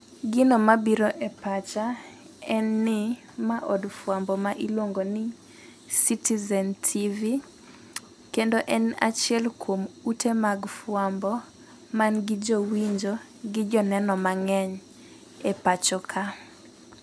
Gino mabiro e pacha, en ni ma od fwambo ma iluongo ni Citizen TV. Kendo en achiel kuom ute mag fwambo manigi jowinjo, gi joneno mang'eny e pacho ka.